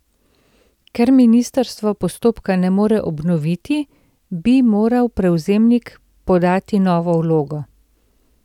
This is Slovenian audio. Ker ministrstvo postopka ne more obnoviti, bi moral prevzemnik podati novo vlogo.